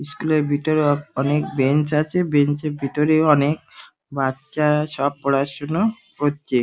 School এর ভেতরে অনেক বেঞ্চ আছে বেঞ্চ - এর ভেতরেও অনেক বাচ্চারা সব পড়াশুনো করছে ।